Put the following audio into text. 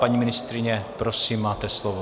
Paní ministryně, prosím, máte slovo.